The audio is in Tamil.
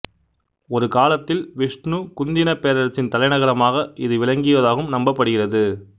ஒரு காலத்தில் விஷ்ணுகுந்தினப் பேரரசின் தலைநகரமாக இது விளங்கியதாகவும் நம்பப்படுகிறது